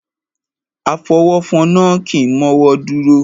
Afọwọ́fọnná kì í mọ́wọ́ dúró.